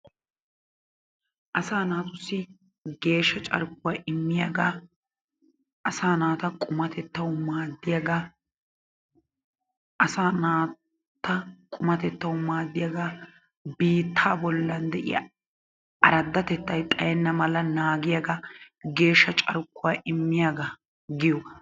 asaa naatussi geeshsha carkkuwaa immiyaaga, asaa naata qumatettaw maaddiyaaga, asa naata qummatettaw maaddiyaaga, biittaa bollan de'iyaa aradatettay xaayyena mala naaggiyaaga, geeshsha carkkuwaa immiyaaga giyoogaa.